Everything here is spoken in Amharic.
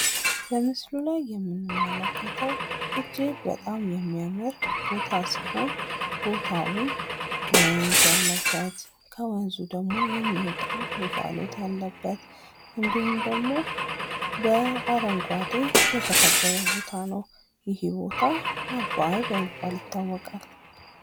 በምስሉ ላይ የምንመለከተው እጅግ በጣም የሚያምር ቦታ ሲሆን ቦታውም ወንዝ ያለበት ከወንዙም ደግሞ የሚወጣ እንፋሎት ያለበት እንዲሁም ደግሞ በአረንጓዴ የተከበበ ቦታ ነው ። ይህ ቦታ አባይ በመባል ይታወቃል ።